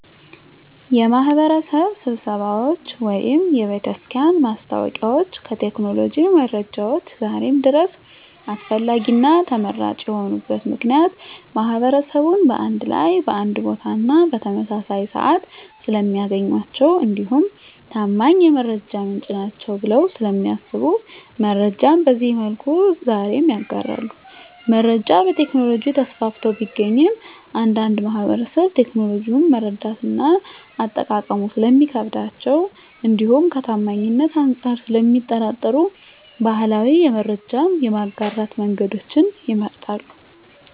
የማህበረሰብ ስብሰባዎች ወይም የቤተክርስቲያን ማስታወቂያዎች ከቴክኖሎጂ መረጃዎች ዛሬም ድረስ አስፈላጊና ተመራጭ የሆኑበት ምክንያት ማህበረሰቡን በአንድ ላይ በአንድ ቦታና በተመሳሳይ ስዓት ስለሚያገኟቸው እንዲሁም ታማኝ የመረጃ ምንጭ ናቸዉ ብለው ስለሚያስቡ መረጃን በዚህ መልኩ ዛሬም ይጋራሉ። መረጃ በቴክኖሎጂ ተስፋፍቶ ቢገኝም አንዳንድ ማህበረሰብ ቴክኖሎጂውን መረዳትና አጠቃቀሙ ስለሚከብዳቸው እንዲሁም ከታማኝነት አንፃር ስለሚጠራጠሩ ባህላዊ የመረጃ የማጋራት መንገዶችን ይመርጣሉ።